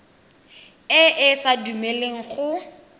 e e sa dumeleleng go